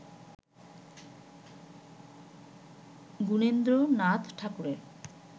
গুণেন্দ্রনাথ ঠাকুরের